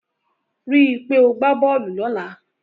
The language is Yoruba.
Rí i pé o gbá bọ́ọ̀lù lọ́la.